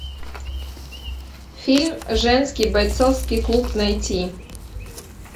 фильм женский бойцовский клуб найти